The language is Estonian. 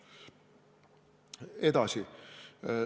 Edasi.